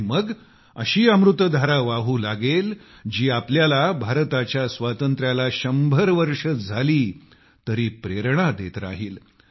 आणि मग अशी अमृत धारा वाहू लागेल जी आपल्याला भारताच्या स्वातंत्र्याला शंभर वर्षे झाली तरी प्रेरणा देत राहील